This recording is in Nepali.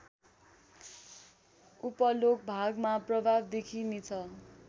उपल्लोभागमा प्रभाव देखिने छ